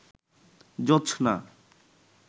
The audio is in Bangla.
জোছনা